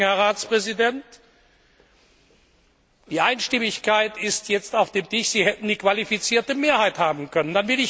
Herr Ratspräsident, Sie sagen, die Einstimmigkeit ist jetzt auf dem Tisch, Sie hätten die qualifizierte Mehrheit haben können.